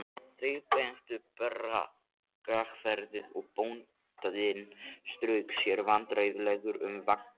Þeir bentu á braggahverfið og bóndinn strauk sér vandræðalegur um vangann.